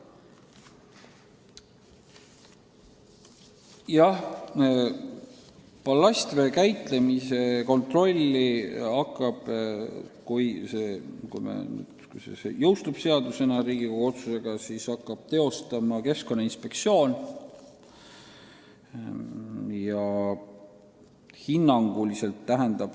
Jah, ballastvee käitlemise kontrolli, kui see Riigikogu otsusel seadusena jõustub, hakkab tegema Keskkonnainspektsioon.